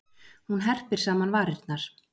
Hún herpir saman varirnar.